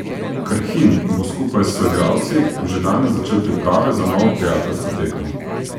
Krhin bo skupaj s soigralci že danes začel priprave na novo prijateljsko tekmo.